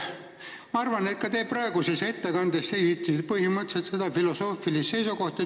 Ma arvan, et te ka praeguses ettekandes esitasite põhimõtteliselt sama filosoofilist seisukohta.